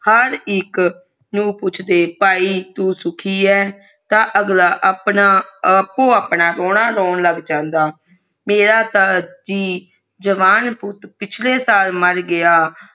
ਹਰ ਇਕ ਨੂੰ ਪੁੱਛਦੇ ਭਾਈ ਤੂੰ ਸੁਖੀ ਏ ਤੇ ਅਗਲਾ ਆਪੋ ਆਪਣਾ ਰੋਣਾ ਰੋਣ ਲੱਗ ਜਾਂਦਾ ਮੇਰਾ ਤਾ ਜੀ ਜਵਾਨ ਪੁੱਟ ਪਿਛਲੇ ਸਾਲ ਮਰ ਗਯਾ